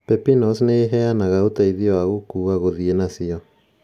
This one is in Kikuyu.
Pepinos nĩ ĩheanaga ũteithio wa gũkuua guthie nacĩo